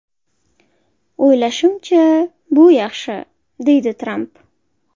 O‘ylashimcha, bu yaxshi”, deydi Tramp.